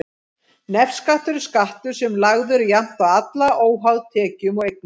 Nefskattur er skattur sem lagður er jafnt á alla, óháð tekjum og eignum.